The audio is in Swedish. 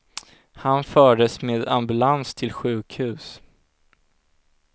Han fördes med ambulans till sjukhus.